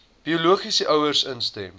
biologiese ouers instem